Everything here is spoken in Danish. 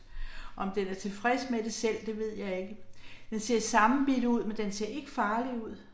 Om den er tilfreds med det selv, det ved jeg ikke. Den ser sammenbidt ud, men den ser ikke farlig ud